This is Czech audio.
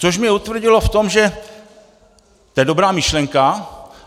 Což mě utvrdilo v tom, že to je dobrá myšlenka.